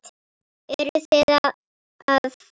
Eruð þið að fara?